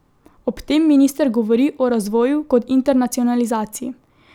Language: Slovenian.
Ob tem minister govori o razvoju kot internacionalizaciji.